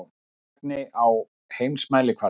Einlægni á heimsmælikvarða.